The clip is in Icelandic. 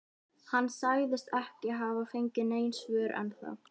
Hann sagðist ekki hafa fengið nein svör ennþá.